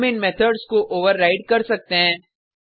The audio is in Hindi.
हम इन मेथड्स को ओवरराइड कर सकते हैं